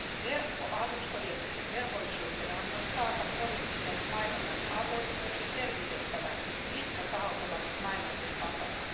Verkkoalustojen velvollisuutena on myös taata poliittisen mainonnan avoimuus ja selvittää, mitkä tahot ovat mainosten takana.